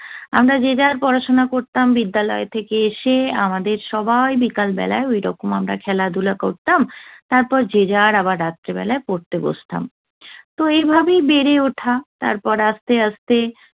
আমরা যে যার পড়াশোনা করতাম। বিদ্যালয় থেকে এসে আমাদের সবাই বিকাল বেলায় ওইরকম আমরা খেলাধুলো করতাম। তারপর যে যার আবার রাত্রিবেলায় পড়তে বসতাম। তো এইভাবেই বেড়ে ওঠা। তারপর আস্তে আস্তে